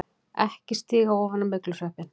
EKKI STÍGA OFAN Á MYGLUSVEPPINN!